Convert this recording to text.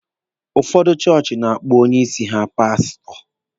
Ụfọdụ chọọchị na-akpọ onye isi ha paasụtọ.